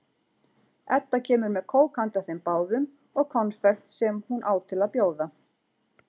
Edda kemur með kók handa þeim báðum og konfekt sem hún á til að bjóða.